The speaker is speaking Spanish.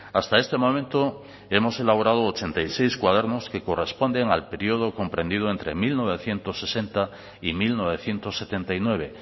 hasta este momento hemos elaborado ochenta y seis cuadernos que corresponden al período comprendido entre mil novecientos sesenta y mil novecientos setenta y nueve